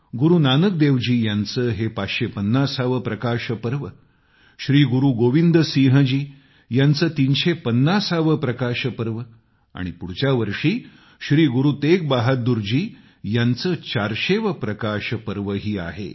गुरूनानक देव जी यांचं हे 550 वे प्रकाश पर्व श्री गुरू गोविंद सिंहजी यांचं 350 वे प्रकाश पर्व पुढच्या वर्षी श्री गुरू तेग बहादूर जी यांचं 400 वे प्रकाश पर्व ही आहे